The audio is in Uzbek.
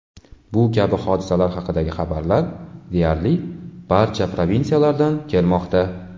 Bu kabi hodisalar haqidagi xabarlar deyarli barcha provinsiyalardan kelmoqda.